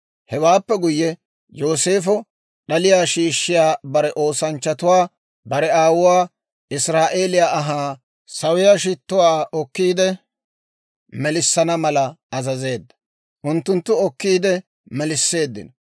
Hewaappe guyye, Yooseefo d'aliyaa shiishshiyaa bare oosanchchatuwaa bare aawuwaa israa'eeliyaa ahaa sawiyaa shittuwaa okkiide melissana mala azazeedda; unttunttu okkiide melisseeddino.